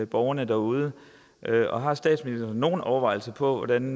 borgerne derude og har statsministeren nogle overvejelser over hvordan